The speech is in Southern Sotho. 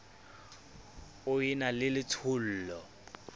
o e na le letshollo